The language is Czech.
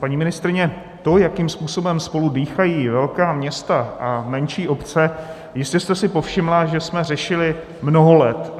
Paní ministryně, to, jakým způsobem spolu dýchají velká města a menší obce, jistě jste si povšimla, že jsme řešili mnoho let.